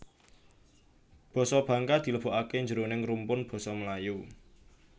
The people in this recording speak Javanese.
Basa Bangka dilebokaké jroning rumpun basa Melayu